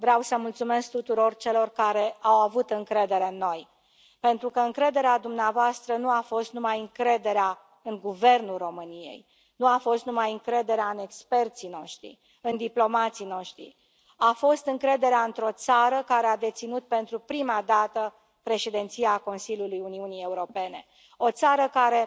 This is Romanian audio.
Vreau să mulțumesc tuturor celor care au avut încredere în noi, pentru că încrederea dumneavoastră nu a fost numai încrederea în guvernul României, nu a fost numai încrederea în experții noștri, în diplomații noștri, a fost încrederea într o țară care a deținut pentru prima dată președinția Consiliului Uniunii Europene, o țară care